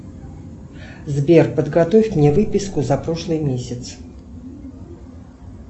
сбер подготовь мне выписку за прошлый месяц